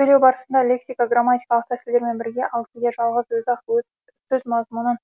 сөйлеу барысында лексика грамматикалық тәсілдермен бірге ал кейде жалғыз өзі ақ сөз мазмұнын